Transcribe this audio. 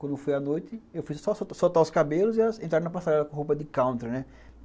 Quando foi à noite, eu fiz só soltar os cabelos e elas entraram na passarela com roupa de country, né?